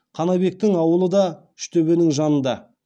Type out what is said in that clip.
қанабектің ауылы да үштөбенің жанында